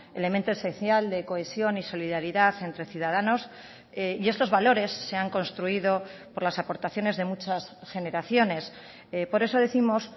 elemento esencial de cohesión y solidaridad entre ciudadanos y estos valores se han construido por las aportaciones de muchas generaciones por eso décimos